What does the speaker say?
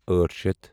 أٹھ شیتھ